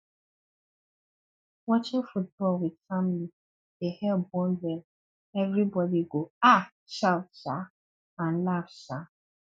watching football with family dey help bond well everybody go um shout um and laugh um